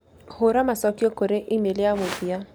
hũra macokio kũrĩ e-mail ya mũthia